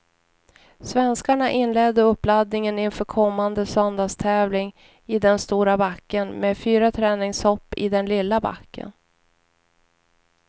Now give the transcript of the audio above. Svenskarna inledde uppladdningen inför kommande söndags tävling i den stora backen med fyra träningshopp i den lilla backen.